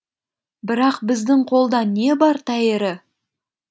бірақ біздің қолда не бар тәйірі